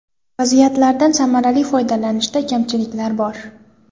Vaziyatlardan samarali foydalanishda kamchiliklar bor.